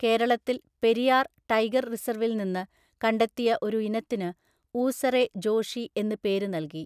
കേരളത്തിൽ പെരിയാർ ടൈഗർ റിസർവിൽ നിന്ന് കണ്ടെത്തിയ ഒരു ഇനത്തിന് ഊസറെ ജോഷി എന്ന് പേര് നൽകി.